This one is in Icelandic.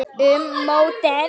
Um mótið